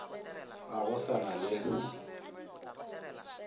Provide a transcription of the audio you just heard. ga go sa na le